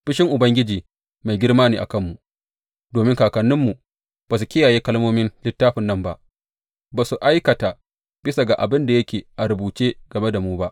Fushin Ubangiji mai girma ne a kanmu domin kakanninmu ba su kiyaye kalmomin littafin nan ba; ba su aikata bisa ga abin da yake a rubuce game da mu ba.